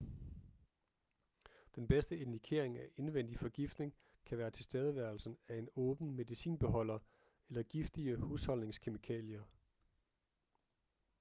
den bedste indikering af indvendig forgiftning kan være tilstedeværelsen af en åben medicinbeholder eller giftige husholdningskemikalier